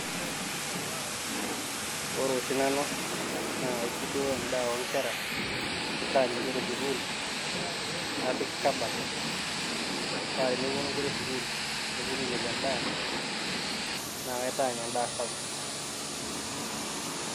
Ore oshi Nanu naa kaisudoo edaa oo nkera, naitaany' Inkera esukuul napik kabaat paa teneponu inkera esukuul neponu ainepu endaa naa naitaany' endaa sapuk